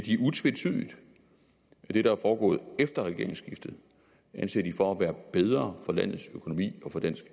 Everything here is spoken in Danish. utvetydigt at det der er foregået efter regeringsskiftet anser de for at være bedre for landets økonomi og for dansk